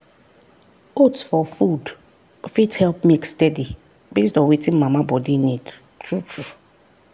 oats for food fit help milk steady based on wetin mama body need true true.